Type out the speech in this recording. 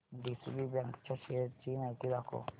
DCB bank च्या shares ची माहिती दाखव